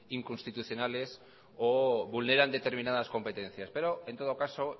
inconstitucionales o vulneran determinadas competencias pero en todo caso